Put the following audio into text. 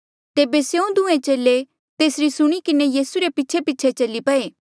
तेबे स्यों दूहें चेले तेसरी सुणी किन्हें यीसू रे पीछेपीछे चली पये